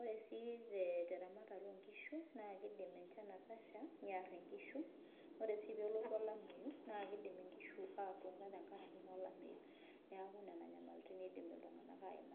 Ore sii teramatare oonkishu keidim enchan atasha niar inkishu ore sii tenelotu olameyu, naa keidim inkishu aatuata naa tenkaraki olameyu. Niaku nena nyamalaritin eidim iltunganak aaimai